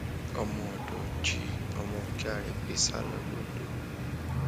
omọ odo jí ọmọ ọgá rẹ gbé sá lọ londo